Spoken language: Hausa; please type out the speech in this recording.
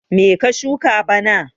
Me ka shuka bana?